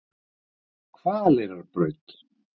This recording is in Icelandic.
Hvaleyrarbraut